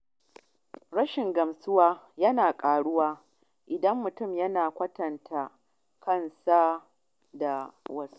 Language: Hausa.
Rashin gamsuwa da kai yana ƙaruwa idan mutum yana yawan kwatanta kansa da wasu.